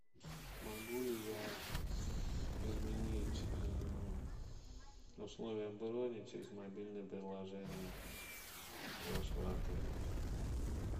могу ли я изменить условия брони через мобильное приложение вашего отеля